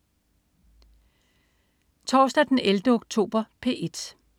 Torsdag den 11. oktober - P1: